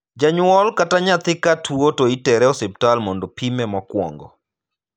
Janyuol kata nyathi ka tuo to itere osiptal mondo pime mokwongo.